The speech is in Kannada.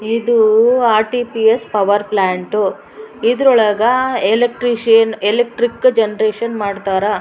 ಇದು ಆರ್.ಟಿ.ಪಿ.ಎಸ್ಸ್ ಪವರ್ ಪ್ಲ್ಯಾಂಟ್ ಇದ್ರೊಳಗ ಎಲ್ಕ್ಟ್ರಿಷಿಯನ್ ಎಲೆಕ್ಟ್ರಿಕ್ ಜನರೇಷನ್ ಮಾಡ್ತಾರ.